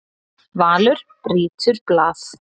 Valur brýtur blað